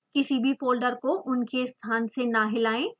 किसी भी फोल्डर को उनके स्थान से न हिलाएं